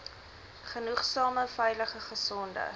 genoegsame veilige gesonde